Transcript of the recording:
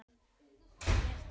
Birta Líf.